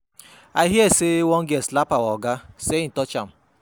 I hear say one girl slap our Oga say he touch am.